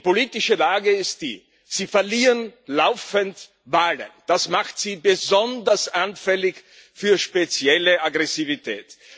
Und die politische Lage ist die Sie verlieren laufend Wahlen, das macht Sie besonders anfällig für spezielle Aggressivität.